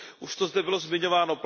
Už to zde bylo zmiňováno.